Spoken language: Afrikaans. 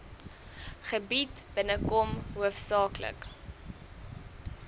gebied binnekom hoofsaaklik